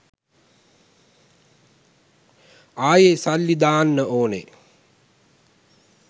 ආයෙ සල්ලි දාන්න ඕනෙ